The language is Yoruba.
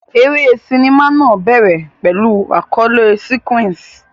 Eré sinimá náà bẹ̀rẹ̀ pẹ̀lú àkọlé sequence.